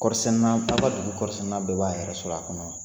Kɔɔri sɛni na a ka dugu kɔɔri sɛni na bɛɛ b'a yɛrɛ sɔrɔ a kɔnɔ.